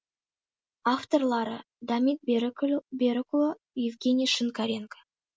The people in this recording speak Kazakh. авторлары дамир берікұлы евгений шинкаренко